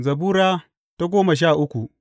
Zabura Sura goma sha uku